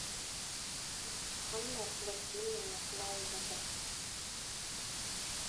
анну васильевну наумову